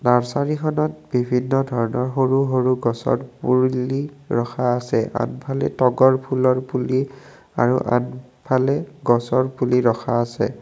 নাৰ্চৰীখনত বিভিন্ন ধৰণৰ সৰু সৰু গছৰ পুৰলি ৰখা আছে আগফালে তগৰ ফুলৰ পুলি আৰু আনফালে গছৰ পুলি ৰখা আছে।